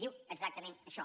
diu exactament això